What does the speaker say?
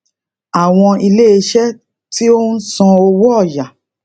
àwọn iléeṣẹ tí ó ń san owó ọyà